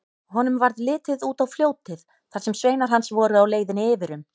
Honum varð litið út á fljótið þar sem sveinar hans voru á leiðinni yfir um.